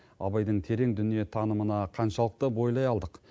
абайдың терең дүниетанымына қаншалықты бойлай алдық